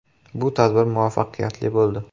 Bu tadbir muvaffaqiyatli bo‘ldi.